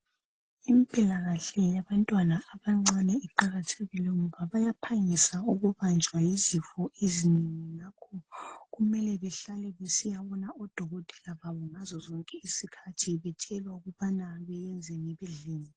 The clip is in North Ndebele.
impilakahle yabantwana abancane iqakathekile ngoba bayaphangisa ukubanjwa yizifo ezinengi ngakho kumele behlale besiyabona kudokotela ngazozonke isikhathi bethelwa ukubana beyenzeni bedleni